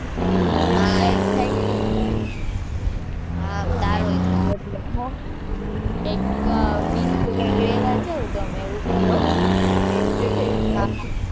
થોડો cut થાય છે ત્યાં. હાં તારોય થાય છે. એક બીજે કયાંક રહેવા જાવ તમે એવું કરો. shift થઈ જાવ.